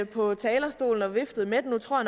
på talerstolen og viftede med den nu tror